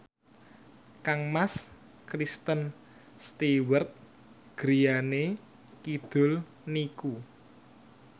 kangmas Kristen Stewart griyane kidul niku